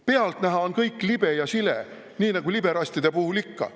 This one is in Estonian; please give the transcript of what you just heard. Pealtnäha on kõik libe ja sile nii nagu liberalistide puhul ikka.